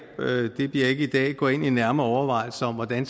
det bliver ikke i dag gå ind i en nærmere overvejelse om hvordan